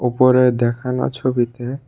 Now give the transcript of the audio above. উপরে দেখানো ছবিতে।